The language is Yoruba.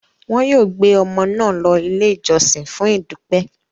Wọn yóò gbé ọmọ náà lọ Ilé-ìjọsìn fún ìdúpẹ́.